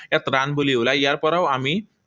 ইয়াত run বুলি ওলায়। ইয়াৰ পৰাও আমি